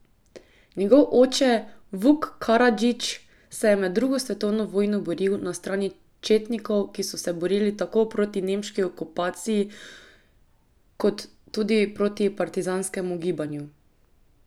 Njegov oče, Vuk Karadžić, se je med drugo svetovno vojno boril na strani četnikov, ki so se borili tako proti nemški okupaciji kot tudi proti partizanskemu gibanju.